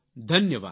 ધન્યવાદ